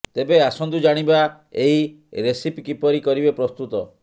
ତେବେ ଆସନ୍ତୁ ଜାଣିବା ଏହି ରେସିପି କିପରି କରିବେ ପ୍ରସ୍ତୁତ